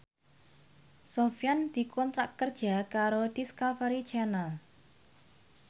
Sofyan dikontrak kerja karo Discovery Channel